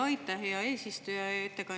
Aitäh, hea eesistuja!